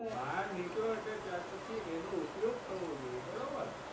બહાર નીકળો એટલે ત્યાર પછી એનો ઉપયોગ થવો જોઈએ બરોબર.